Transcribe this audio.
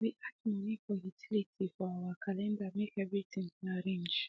we add money for utilities for our calendar make every thing dey arrange